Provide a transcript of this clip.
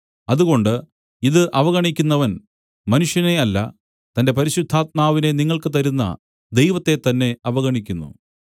അതുകൊണ്ട് ഇത് അവഗണിക്കുന്നവൻ മനുഷ്യനെ അല്ല തന്റെ പരിശുദ്ധാത്മാവിനെ നിങ്ങൾക്ക് തരുന്ന ദൈവത്തെത്തന്നെ അവഗണിക്കുന്നു